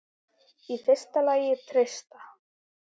Í fyrsta lagi treysta